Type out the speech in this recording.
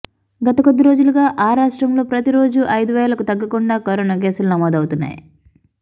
గత కొద్ది రోజులుగా ఆ రాష్ట్రంలో ప్రతిరోజూ ఐదు వేలకు తగ్గకుండా కరోనా కేసులు నమోదవుతున్నాయి